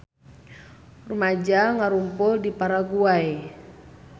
Rumaja ngarumpul di Paraguay